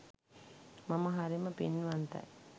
මම හරිම පින්වන්තයි